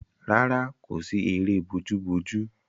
Rárá, kò sí eré bojúbojú.